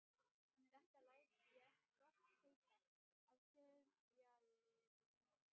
Þetta læt ég gott heita af sifjaliði mínu.